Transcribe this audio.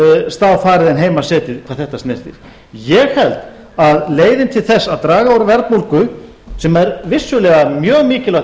stað farið en heima setið hvað þetta snertir ég held að leiðin til þess að draga úr verðbólgu sem er vissulega mjög mikilvægt